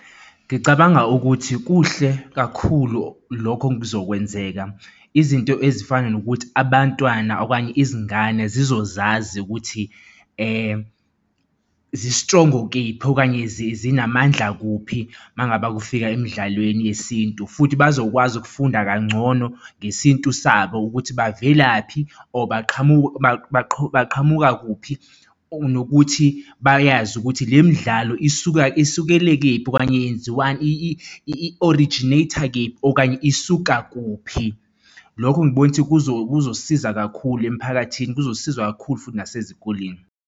Ngicabanga ukuthi kuhle kakhulu lokho kuzokwenzeka izinto ezifana nokuthi abantwana okanye izingane zizozazi ukuthi zistrongo kephi okanye zinamandla kuphi uma ngabe kufika emdlalweni yesintu futhi bazokwazi ukufunda kangcono ngesintu sabo ukuthi bavelaphi or baqhamuka baqhamuka kuphi nokuthi bayazi ukuthi le midlalo isuka esukele kephi okanye yenziwa i-originate-a, kephi okanye isuka kuphi lokho ngibona ukuthi kuzosisiza kakhulu emphakathini kuzosiza kakhulu futhi nasezikoleni.